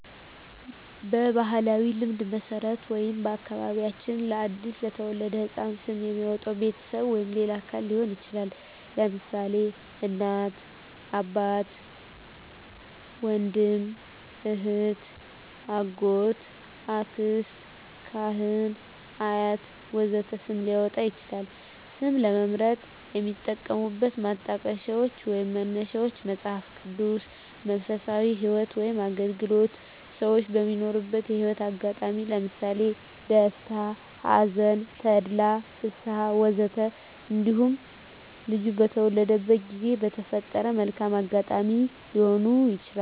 በባሕላዊ ልማድ መሠረት ወይም በአከባቢያችን ለ አዲስ የተወለደ ሕፃን ስም የሚያወጣዉ ቤተሰብ ወይም ሌላ አካል ሊሆን ይችላል። ለምሳሌ: እናት፣ አባት፣ ወንድም፣ እህት፣ አጎት፣ አክስት፣ ካህን፣ አያት ወዘተ ስም ሊያወጣ ይችላል። ስም ለመምረጥ የሚጠቀሙት ማጣቀሻዎች ወይንም መነሻዎች መጽሃፍ ቅዱስ፣ መንፈሳዊ ህይወት ወይም አገልግሎት፣ ሰወች በሚኖሩት የህይወት አጋጣሚ ለምሳሌ ደስታ፣ ሀዘን፣ ተድላ፣ ፍስሀ፣ ወዘተ እንዲሁም ልጁ በተወለደበት ጊዜ በተፈጠረ መልካም አጋጣሚ ሊሆኑ ይችላሉ።